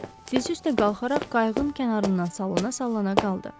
Dizi üstə qalxaraq qayığın kənarından sallana-sallana qaldı.